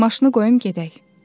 “Maşını qoyum gedək.”